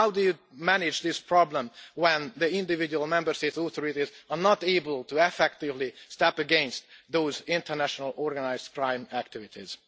How do you manage this problem when the individual Member States' authorities are not able to effectively step against those international organised crime activities?